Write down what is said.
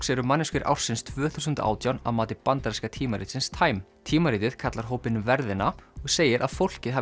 eru manneskjur ársins tvö þúsund og átján að mati bandaríska tímaritsins time tímaritið kallar hópinn verðina og segir að fólkið hafi